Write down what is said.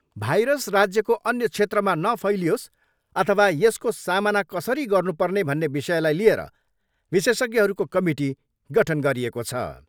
Virus राज्यको अन्य क्षेत्रमा नफैलियोस अथवा यसको सामना कसरी गर्नुपर्ने भन्ने विषयलाई लिएर विशेषज्ञहरूको कमिटी गठन गरिएको छ।